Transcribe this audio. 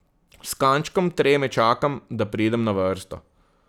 S kančkom treme čakam, da pridem na vrsto.